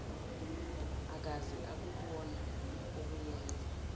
akaze akubona okuyenza